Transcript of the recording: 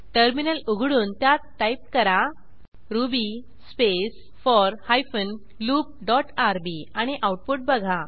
terminal उघडून त्यात type करा Ruby space four hyphen loop dot rb आणि आऊटपुट बघा